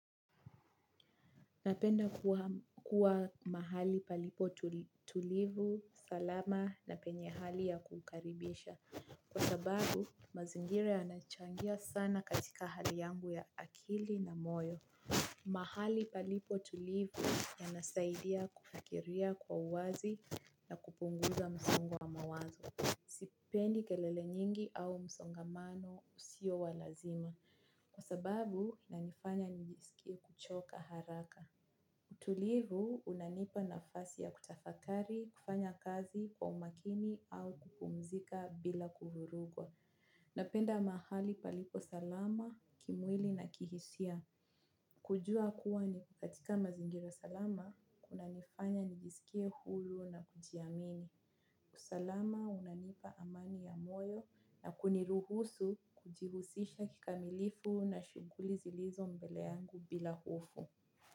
Napenda kuwa mahali palipo tulivu, salama na penye hali ya kukaribisha. Kwa sababu mazingira yanachangia sana katika hali yangu ya akili na moyo. Mahali palipo tulivu yanasaidia kufakiria kwa uwazi na kupunguza msongo wa mawazo. Sipendi kelele nyingi au msongamano usio wa lazima. Kwa sababu inanifanya nijisikie kuchoka haraka utulivu unanipa nafasi ya kutafakari kufanya kazi kwa umakini au kupumzika bila kuvurugwa. Napenda mahali palipo salama, kimwili na kihisia. Kujua kuwa ni katika mazingira salama, kuna nifanya nijisikie hulu na kujiamini. Usalama unanipa amani ya moyo na kuniruhusu kujihusisha kikamilifu na shuguli zilizo mbeleangu bila hofu.